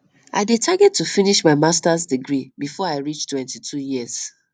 i dey target to finish my masters degree before i reach 22 years